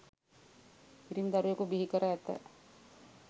පිරිමි දරුවෙකු බිහි කර ඇත